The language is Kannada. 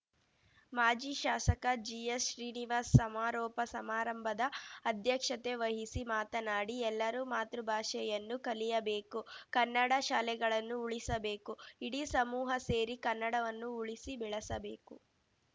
ಮಾಜಿ ಶಾಸಕ ಜಿಎಚ್‌ಶ್ರೀನಿವಾಸ್‌ ಸಮಾರೋಪ ಸಮಾರಂಭದ ಅಧ್ಯಕ್ಷತೆ ವಹಿಸಿ ಮಾತನಾಡಿ ಎಲ್ಲರೂ ಮಾತೃಭಾಷೆಯನ್ನು ಕಲಿಯಬೇಕು ಕನ್ನಡ ಶಾಲೆಗಳನ್ನು ಉಳಿಸಬೇಕು ಇಡೀ ಸಮೂಹ ಸೇರಿ ಕನ್ನಡವನ್ನು ಉಳಿಸಿ ಬೆಳೆಸಬೇಕು